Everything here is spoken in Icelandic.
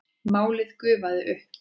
Málið gufaði upp.